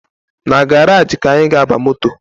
Na garaji ka anyị ga-aba moto